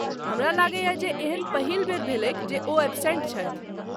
हमरा लगैए जे, एहन पहिल बेर भेलैक जे ओ एबसेंट छथि।